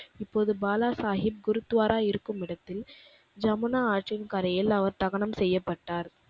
இப்போது பாலாசாகிப் குருத்வாரா இருக்கும் இடத்தில் ஜமுனா ஆற்றின் கரையில் அவர் தகனம் செய்யப்பட்டார்.